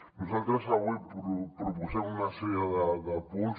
nosaltres avui proposem una sèrie de punts